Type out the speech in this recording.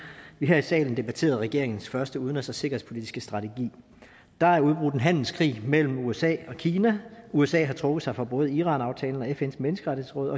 vi her i salen debatterede regeringens første udenrigs og sikkerhedspolitiske strategi der er udbrudt en handelskrig mellem usa og kina usa har trukket sig fra både iranaftalen og fns menneskerettighedsråd